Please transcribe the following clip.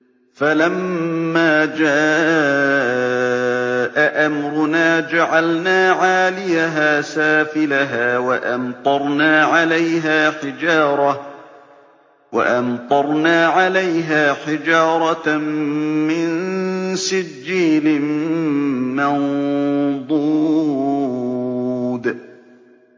فَلَمَّا جَاءَ أَمْرُنَا جَعَلْنَا عَالِيَهَا سَافِلَهَا وَأَمْطَرْنَا عَلَيْهَا حِجَارَةً مِّن سِجِّيلٍ مَّنضُودٍ